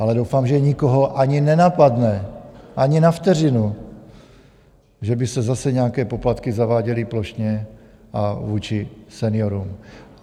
Ale doufám, že nikoho ani nenapadne ani na vteřinu, že by se zase nějaké poplatky zaváděly plošně a vůči seniorům.